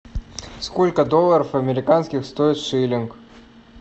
сколько долларов американских стоит шиллинг